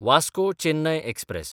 Vasco Chennai express